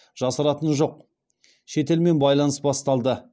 жасыратыны жоқ шетелмен байланыс басталды